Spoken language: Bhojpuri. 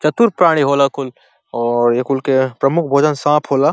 चतुर प्राणी होला कुल और ए कुल के प्रमुख भोजन सांप होला।